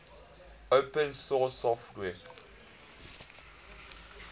open source software